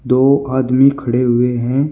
दो आदमी खड़े हुए हैं।